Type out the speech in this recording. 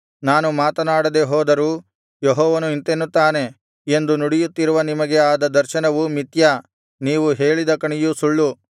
ನಾನು ಮಾತನಾಡದೆ ಹೋದರೂ ಯೆಹೋವನು ಇಂತೆನ್ನುತ್ತಾನೆ ಎಂದು ನುಡಿಯುತ್ತಿರುವ ನಿಮಗೆ ಆದ ದರ್ಶನವು ಮಿಥ್ಯ ನೀವು ಹೇಳಿದ ಕಣಿಯು ಸುಳ್ಳು